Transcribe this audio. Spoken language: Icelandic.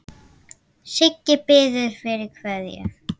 Siggi biður fyrir kveðju.